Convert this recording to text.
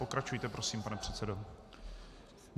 Pokračujte prosím, pane předsedo.